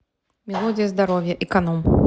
мелодия здоровья эконом